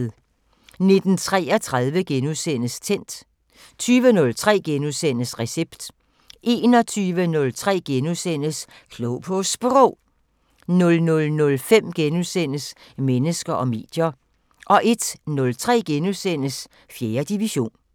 19:33: Tændt * 20:03: Recept * 21:03: Klog på Sprog * 00:05: Mennesker og medier * 01:03: 4. division *